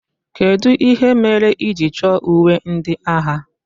Kedụ ihe mere ị ji chọ uwe ndị agha?